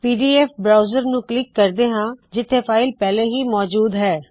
PDF browser ਨੂੰ click ਕਰਦੇ ਹਾ ਜਿੱਥੇ ਫ਼ਾਇਲ ਪਹਿਲੇ ਹੀ ਮੌਜੂਦ ਹੈ